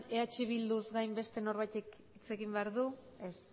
eh bilduz gain beste norbaitek hitz egin behar du ez